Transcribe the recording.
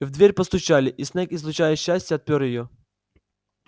в дверь постучали и снегг излучая счастье отпер её